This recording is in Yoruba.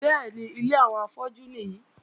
Bẹ́ẹ̀ni, ilé àwọn afọ́jú nìyí.